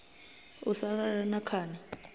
u sa lala na khani